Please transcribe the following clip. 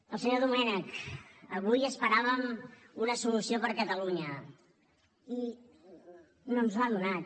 al senyor domènech avui esperàvem una solució per a catalunya i no ens l’ha donat